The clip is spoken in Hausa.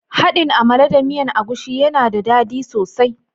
Haɗin " amala" da miyan agushi yana da dadi sosai.